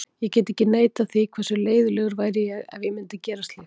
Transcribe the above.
Ég get ekki neitað þeim því, hversu leiðinlegur væri ég ef ég myndi gera slíkt?